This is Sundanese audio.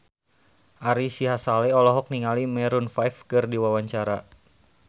Ari Sihasale olohok ningali Maroon 5 keur diwawancara